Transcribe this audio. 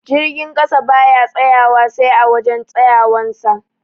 Jirgin ƙasa baya tsayawa sai a wajan tsayawan sa